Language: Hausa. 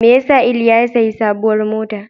Me ya sa Iliya ya sayi sabuwar mota?